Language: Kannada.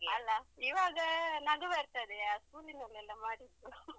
ಅಲ್ಲ ಇವಾಗ ನಗು ಬರ್ತದೆ ಆ school ನಲೆಲ್ಲಾ ಮಾಡಿದ್ದು